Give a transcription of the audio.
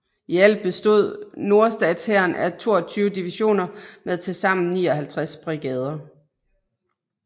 I alt bestod nordstatshæren af 22 divisioner med tilsammen 59 brigader